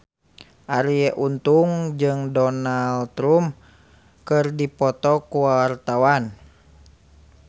Arie Untung jeung Donald Trump keur dipoto ku wartawan